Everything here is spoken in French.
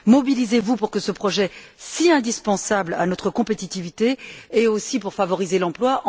Mobilisez vous pour ce projet si indispensable à notre compétitivité et aussi pour favoriser l'emploi.